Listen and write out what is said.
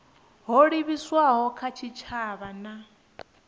ho livhiswaho kha tshitshavha na